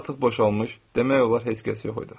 Küçə artıq boşalmış, demək olar heç kəs yox idi.